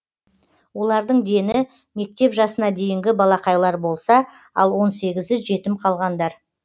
олардың дені мектеп жасына дейінгі балақайлар болса ал он сегізі жетім қалғандар